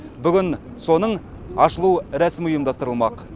бүгін соның ашылу рәсімі ұйымдастырылмақ